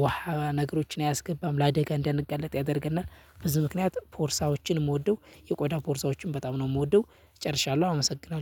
ውሃ ነገሮችን አያስገባም ለአደጋ እንዳንጋለጥ ያደርገናል። ብዙ ምክንያት ፖርሳዎችን የምወደው የቆዳ ፖርሳዎችን በጣም ነው የምወደው ጨርሻለሁ አመሰግናለሁ